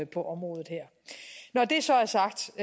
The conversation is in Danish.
på området her når det så er sagt